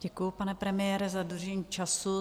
Děkuju, pane premiére, za dodržení času.